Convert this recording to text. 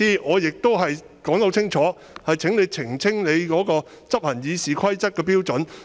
我剛才已清楚表示，請你澄清執行《議事規則》的標準。